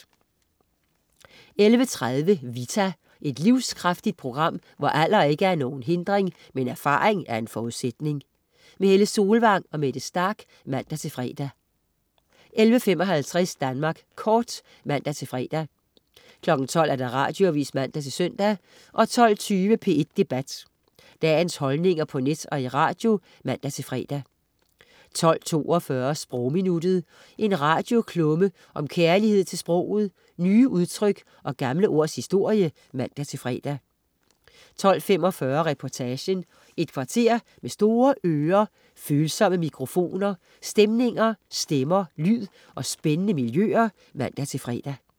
11.30 Vita. Et livskraftigt program, hvor alder ikke er nogen hindring, men erfaring en forudsætning. Helle Solvang og Mette Starch (man-fre) 11.55 Danmark Kort (man-fre) 12.00 Radioavis (man-søn) 12.20 P1 Debat. Dagens holdninger på net og i radio (man-fre) 12.42 Sprogminuttet. En radioklumme om kærlighed til sproget, nye udtryk og gamle ords historie (man-fre) 12.45 Reportagen. Et kvarter med store ører, følsomme mikrofoner, stemmer, stemninger, lyd og spændende miljøer (man-fre)